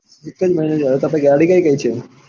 એક જ મહિનો થયો હવે તાર પાસે ગાડી કઈ કઈ છે?